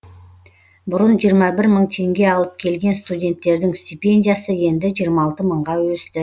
бұрын жиырма бір мың теңге алып келген студенттердің стипендиясы енді жиырма алты мыңға өсті